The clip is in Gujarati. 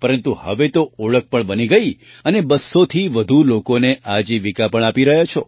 પરંતુ હવે તો ઓળખ પણ બની ગઈ અને ૨૦૦થી વધુ લોકોને આજીવિકા પણ આપી રહ્યા છો